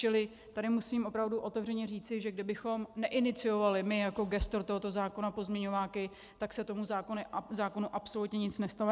Čili tady musím opravdu otevřeně říci, že kdybychom neiniciovali my jako gestor tohoto zákona pozměňováky, tak se tomu zákonu absolutně nic nestalo.